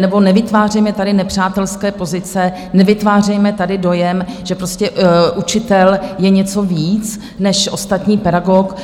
nebo nevytvářejme tady nepřátelské pozice, nevytvářejme tady dojem, že prostě učitel je něco víc než ostatní pedagogové.